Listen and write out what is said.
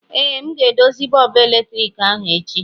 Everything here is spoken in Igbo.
ee, m ga-edozi bọọbụ eletriki ahụ echi